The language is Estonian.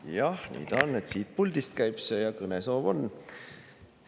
Jah, nii ta on, et siit puldist see käib ja kõnesoov mul on.